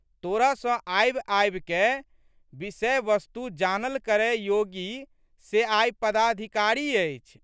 तोरा सँ आबिआबिकए विषय़ वस्तु जानल करय योगी से आइ पदाधिकारी अछि।